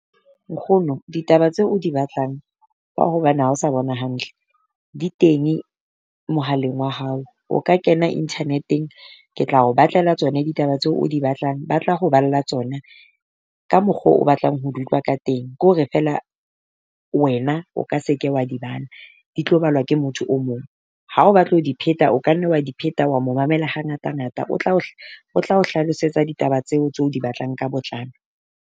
Nkgono ditaba tse o di batlang ka hobane ha o sa bona hantle, di teng mohaleng wa hao o ka kena internet-eng ke tla o batlela tsona ditaba tseo o di batlang. Ba tla ho balla tsona ka mokgo o batlang ho di utlwa ka teng. Ke hore feela wena o ka se ke wa di bala, di tlo balwa ke motho o mong. Ha o batla ho di pheta o ka nne wa di pheta wa mo mamela hangata-ngata. O tla o o tla o hlalosetsa ditaba tseo tse o di batlang ka botlalo.